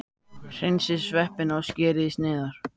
Hreinsið sveppina og skerið í sneiðar.